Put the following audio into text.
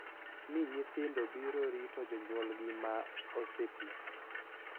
Ni nyithindo biro rito jonyuolgi ma ose tii, .